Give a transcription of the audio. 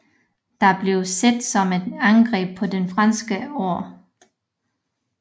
Det blev set som et angreb på den franske ære